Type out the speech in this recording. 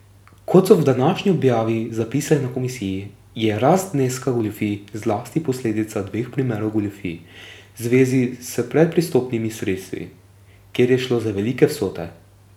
Kot so v današnji objavi zapisali na komisiji, je rast zneska goljufij zlasti posledica dveh primerov goljufij v zvezi s predpristopnimi sredstvi, kjer je šlo za velike vsote.